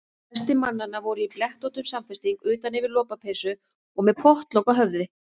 Flestir mannanna voru í blettóttum samfesting utan yfir lopapeysu og með pottlok á höfði.